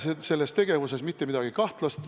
Ma ei näe selles tegevuses mitte midagi kahtlast.